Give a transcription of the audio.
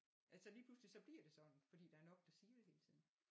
Altså lige pludselig så bliver det sådan fordi der er nok der siger det hele tiden